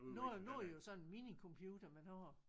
Nu er nu er det jo sådan en minicomputer man har